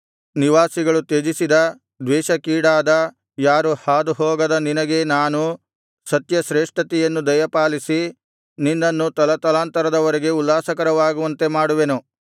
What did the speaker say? ನಿವಾಸಿಗಳು ತ್ಯಜಿಸಿದ ದ್ವೇಷಕ್ಕೀಡಾದ ಯಾರೂ ಹಾದುಹೋಗದ ನಿನಗೆ ನಾನು ನಿತ್ಯಶ್ರೇಷ್ಠತೆಯನ್ನು ದಯಪಾಲಿಸಿ ನಿನ್ನನ್ನು ತಲತಲಾಂತರದವರೆಗೆ ಉಲ್ಲಾಸಕರವಾಗುವಂತೆ ಮಾಡುವೆನು